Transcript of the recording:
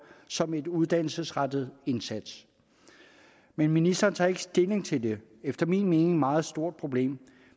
som en uddannelsesrettet indsats men ministeren tager ikke stilling til det efter min mening meget store problem